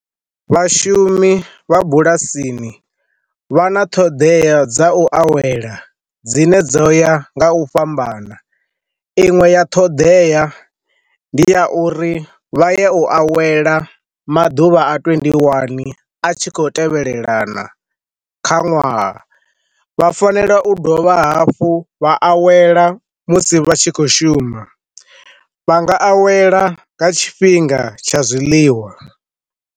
Vhashumi vha bulasini vha na ṱhoḓea dza u awela dzine dzo ya nga u fhambana, inwe ya ṱhoḓea ndi ya uri vha ye u awela maḓuvha a twendi ndi wani a tshi khou tevhelelana kha ṅwaha, vha fanela u dovha hafhu vha awela musi vha tshi khou shuma vha nga awela nga tshifhinga tsha zwiḽiwa.